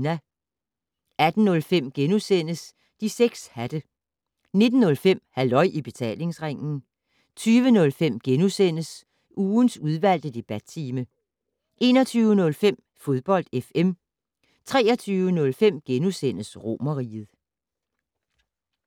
18:05: De 6 hatte * 19:05: Halløj I Betalingsringen 20:05: Ugens udvalgte debattime * 21:05: Fodbold FM 23:05: Romerriget *